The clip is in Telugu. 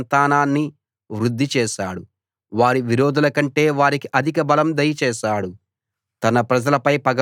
ఆయన తన ప్రజల సంతానాన్ని వృద్ధి చేశాడు వారి విరోధులకంటే వారికి అధికబలం దయచేశాడు